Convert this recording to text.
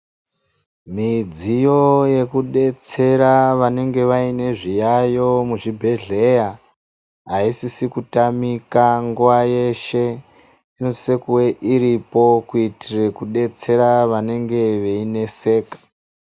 Midziyo yekudetsera vanenge vane zviyayo muzvibhedhlera asisiri kutamika nguwa yeshe inosisa iripo kuitira kudetsera vanenge veineseka.